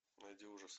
найди ужасы